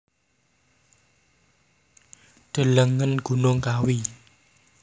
Delengen Gunung Kawi